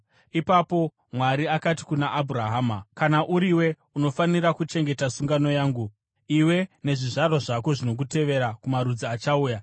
Ipapo Mwari akati kuna Abhurahama, “Kana uriwe, unofanira kuchengeta sungano yangu, iwe nezvizvarwa zvako zvinokutevera kumarudzi achauya.